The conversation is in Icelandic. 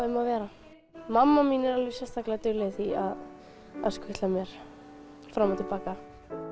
um að vera mamma er dugleg að skutla mér fram og til baka